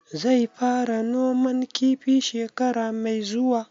Zai fara noman kifi shekara mai zuwa?